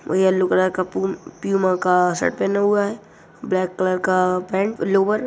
वो yellow colour का पुम प्यूमा का शर्ट पेहना (पहना) हुआ है ब्लेक कलर का पेंट लोवर --